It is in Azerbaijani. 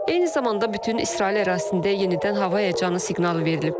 Eyni zamanda bütün İsrail ərazisində yenidən hava həyəcanı siqnalı verilib.